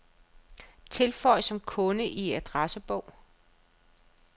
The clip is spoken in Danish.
Tilføj som kunde i adressebog.